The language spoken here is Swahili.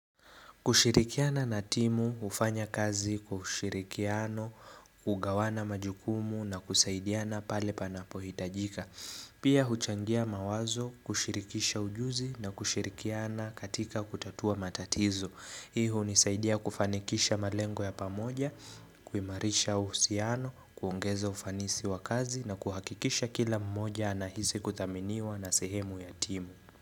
Kushirikiana na timu, hufanya kazi, kushirikiano, kugawana majukumu na kusaidiana pale panapo hitajika. Pia huchangia mawazo, kushirikisha ujuzi na kushirikiana katika kutatua matatizo. Hii hunisaidia kufanikisha malengo ya pamoja, kuimarisha uhusiano, kuongeza ufanisi wa kazi na kuhakikisha kila mmoja anahisi kuthaminiwa na sehemu ya timu.